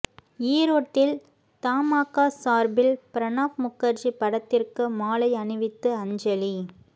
ஈரோட்டில் தமாகா சார்பில் பிரணாப் முகர்ஜி படத்திற்கு மாலை அணிவித்து அஞ்சலி